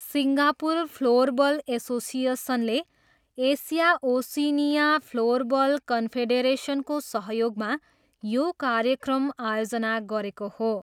Singapore floorball एसोसिएसनले Asia Oceania floorball कन्फेडेरेसनको सहयोगमा यो कार्यक्रम आयोजना गरेको हो।